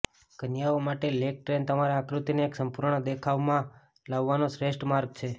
કન્યાઓ માટે leg train તમારા આકૃતિને એક સંપૂર્ણ દેખાવમાં લાવવાનો શ્રેષ્ઠ માર્ગ છે